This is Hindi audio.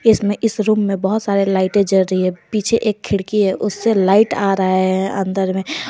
इसमें इस रूम में बहुत सारे लाइटें जल रही है पीछे खिड़की है उससे लाइट आ रहा है अंदर में औ--